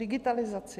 Digitalizaci.